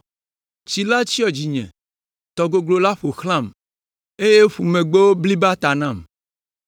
Tsi la tsyɔ dzinye, tɔ goglo la ƒo xlãm, eye ƒumegbewo bliba ta nam.